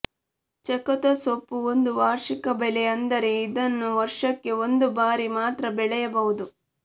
ಚಕೋತ ಸೊಪ್ಪು ಒಂದು ವಾರ್ಷಿಕ ಬೆಳೆ ಅಂದರೆ ಇದನ್ನು ವರ್ಷಕ್ಕೆ ಒಂದು ಬಾರಿ ಮಾತ್ರ ಬೆಳೆಯಬಹುದು